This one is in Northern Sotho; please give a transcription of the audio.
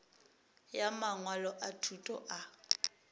ya mangwalo a thuto a